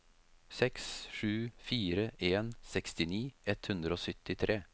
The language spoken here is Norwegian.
seks sju fire en sekstini ett hundre og syttitre